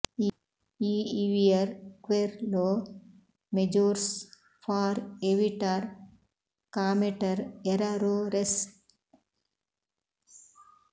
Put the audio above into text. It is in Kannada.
ಈ ಇವಿಯರ್ ಕ್ವೆರ್ ಲೊ ಮೆಜೋರ್ಸ್ ಫಾರ್ ಎವಿಟಾರ್ ಕಾಮೆಟರ್ ಎರರೊರೆಸ್